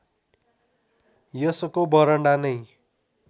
यसको बरण्डा नै